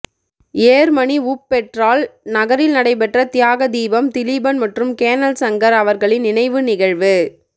Germany Wuppertal நகரில் நடைபெற்ற தியாக தீபம் திலீபன் மற்றும் கேணல் சங்கர் அவர்களின் நினைவு நிகழ்வு